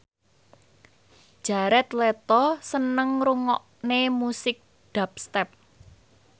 Jared Leto seneng ngrungokne musik dubstep